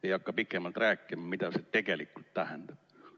Ei hakka pikemalt rääkima, mida see tegelikult tähendab.